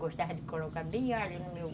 Gostavam de colocar bem alho no meu